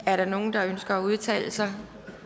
er der nogen der ønsker at udtale sig